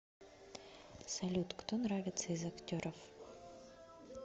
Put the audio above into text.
салют кто нравится из актеров